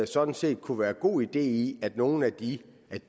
sådan set kunne være god idé i at nogle af de